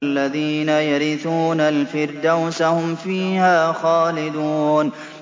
الَّذِينَ يَرِثُونَ الْفِرْدَوْسَ هُمْ فِيهَا خَالِدُونَ